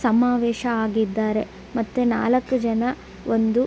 ಸಮಾವೇಶ ಆಗಿದ್ದಾರೆ ಮತ್ತು ನಾಲಕ್ಕು ಜನ ಒಂದು --